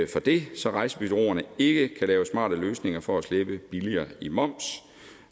for det så rejsebureauerne ikke kan lave smarte løsninger for at slippe billigere i moms